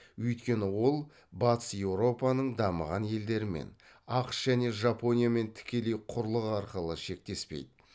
өйткені ол батыс еуропаның дамыған елдерімен ақш және жапониямен тікелей құрлық арқылы шектеспейді